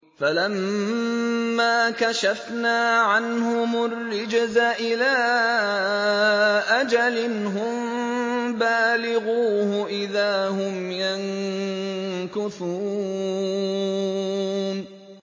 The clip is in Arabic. فَلَمَّا كَشَفْنَا عَنْهُمُ الرِّجْزَ إِلَىٰ أَجَلٍ هُم بَالِغُوهُ إِذَا هُمْ يَنكُثُونَ